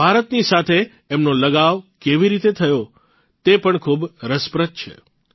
ભારતની સાથે એમનો લગાવ કેવી રીતે થયો તે પણ ખૂબ રસપ્રદ છે